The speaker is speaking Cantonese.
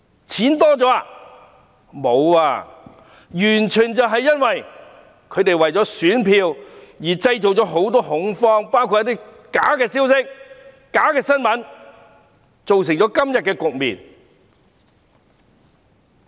全都不是，完全是因為反對派為了選票，透過假消息和假新聞等製造恐慌，造成今天的局面。